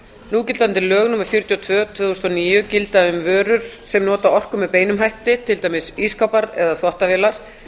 núgildandi lög númer fjörutíu og tvö tvö þúsund og níu gilda um vörur sem nota orku með beinum hætti til dæmis ísskápar eða þvottavélar